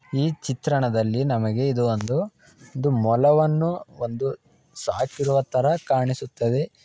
ಈ ಚಿತ್ರಣದಲ್ಲಿ ನಮಗೆ ಇದು ಒಂದು ಒಂದು ಮೊಲವನ್ನು ಒಂದು ಸಾಕಿರುವ ತರ ಕಾಣಿಸುತ್ತದೆ